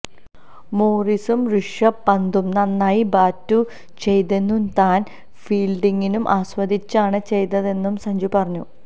മോറിസും ഋഷഭ് പന്തും നന്നായി ബാറ്റു ചെയ്തെന്നും താന് ഫീല്ഡിങ്ങും ആസ്വദിച്ചാണ് ചെയ്തതെന്നും സഞ്ജു പറഞ്ഞു